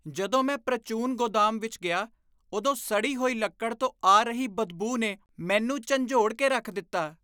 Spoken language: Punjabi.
ਜਦੋਂ ਮੈਂ ਪ੍ਰਚੂਨ ਗੋਦਾਮ ਵਿੱਚ ਗਿਆ ਉਦੋਂ ਸੜੀ ਹੋਈ ਲੱਕੜ ਤੋਂ ਆ ਰਹੀ ਬਦਬੂ ਨੇ ਮੈਨੂੰ ਝੰਜੋਡ ਕੇ ਰੱਖ ਦਿੱਤਾ।